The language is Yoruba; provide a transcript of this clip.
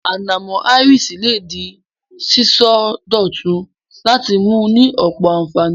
Ànàmó áiriṣì le de síso dòtun láti ni mu ni ọ̀pọ̀ ànfàní